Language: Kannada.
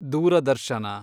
ದೂರದರ್ಶನ